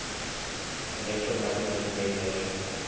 electromagnetic radiation